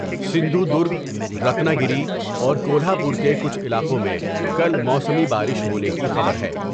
Sindhu drug, Ratnagiri, اور Kolhapur کے کچھ علاقوں میں کل موسمی بارش ہونے کی خبر ہے ۔